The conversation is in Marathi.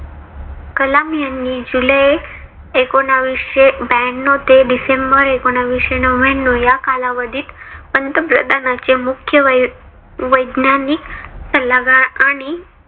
कलाम यांनी जुलै एकोनाविशे ब्यानव ते डिसेंबर एकोनाविशे नव्याण्णव या कालावधीत पंतप्रधानाचे मुख्य वैज्ञानिक सल्लागार आणि